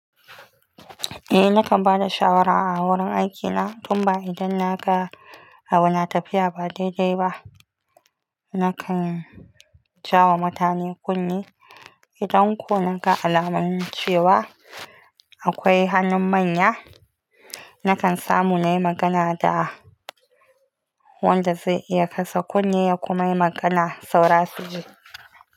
Eh nakan ba da shawara a wurin aikina, tun ba idan na ga abu na tafiya ba daidai ba. Nakan jawo mutane kunne idan kunika alamun cewa akwai hannun manya. Nakan samu na yi magana da wanda zai iya kasa kunne ya kuma yi magana saurasi ji.